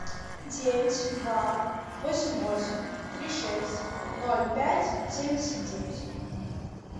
девять два восемь восемь три шесть ноль пять семьдесят девять